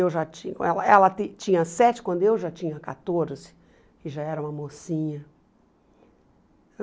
Eu já tinha ela ela tem tinha sete, quando eu já tinha quatorze, e já era uma mocinha.